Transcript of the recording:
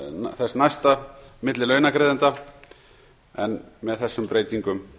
þess næsta milli launagreiðenda en með þessum breytingum